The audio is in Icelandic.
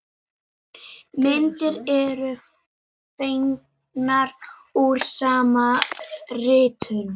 Myndir eru fengnar úr sama riti.